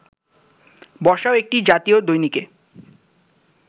বর্ষাও একটি জাতীয় দৈনিকে